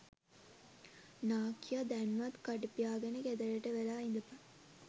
නාකියා දැන්වත් කට පියාගෙන ගෙදරට වෙලා ඉදපන්